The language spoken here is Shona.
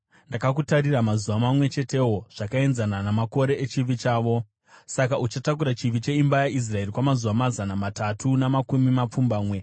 Ndakakutarira mazuva mamwe chetewo zvakaenzana namakore echivi chavo. Saka uchatakura chivi cheimba yaIsraeri kwamazuva mazana matatu namakumi mapfumbamwe.